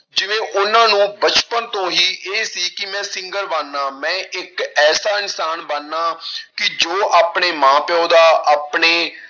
ਤੇ ਉਹਨਾਂ ਨੂੰ ਬਚਪਨ ਤੋਂ ਹੀ ਇਹ ਸੀ ਕਿ ਮੈਂ singer ਬਣਨਾ, ਮੈਂ ਇੱਕ ਐਸਾ ਇਨਸਾਨ ਬਣਨਾ ਕਿ ਜੋ ਆਪਣੇ ਮਾਂ ਪਿਓ ਦਾ, ਆਪਣੇ